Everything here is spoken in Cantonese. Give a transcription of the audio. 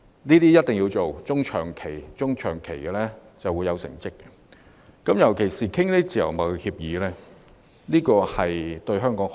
這些是必須要做的事，中長期便會見到成績，尤其是自由貿易協議的簽訂對香港有好處。